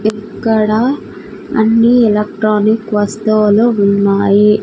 ఇక్కడ అన్ని ఎలక్ట్రినిక్ వస్తువులు ఉన్నాయి.